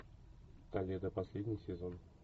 коллега последний сезон